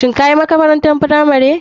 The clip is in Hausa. Shin kayi makrantar firamari?